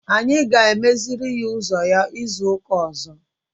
Anyị ga-emeziri ya ụzọ ya izu ụka ọzọ.